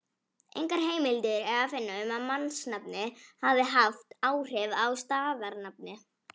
Engar heimildir er að finna um að mannsnafnið hafi haft áhrif á staðarnafnið.